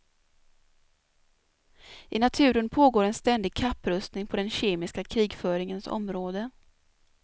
I naturen pågår en ständig kapprustning på den kemiska krigföringens område.